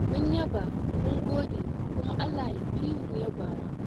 Mun yaba mun gode kuma Allah ya fi mu yabawa.